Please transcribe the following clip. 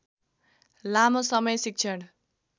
लामो समय शिक्षण